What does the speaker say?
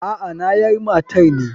Aa nayar matar ne.